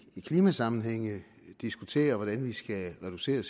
klimasammenhænge diskuterer hvordan vi skal reducere